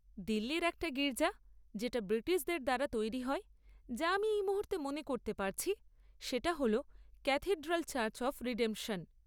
দিল্লির একটা গির্জা যেটা ব্রিটিশদের দ্বারা তৈরি হয়, যা আমি এই মুহূর্তে মনে করতে পারছি, সেটা হ'ল ক্যাথিড্রাল চার্চ অফ রিডেম্পশন।